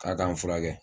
K'a k'an furakɛ